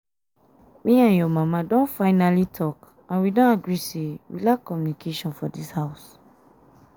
me and your mama don finally talk and we don agree say we lack communication for dis house